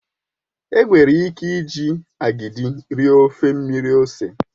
Enwere ike iji agidi rie ofe mmiri ose.